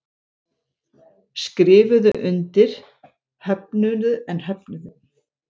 Skrifuðu undir en höfnuðu vöfflum